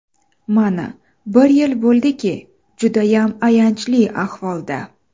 Mana, bir yil bo‘ldiki, judayam ayanchli ahvolda.